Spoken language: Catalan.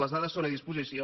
les dades són a dis·posició